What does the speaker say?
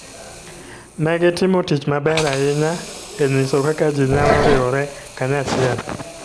Ne gitimo tich maber ahinya e nyiso kaka ji nyalo riwore kanyachiel.